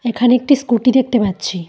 এখানে একটি স্কুটি দেখতে পাচ্ছি।